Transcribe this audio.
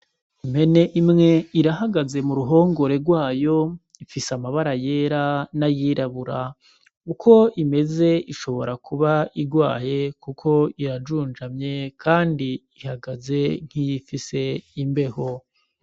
Impene imwe irahagaze mu ruhongore rwayo, ifise amabara yera nay'irabura, uko imeze ishobora kuba irwaye kuko irajunjamye kandi ihagaze nk'iyifise imbeho.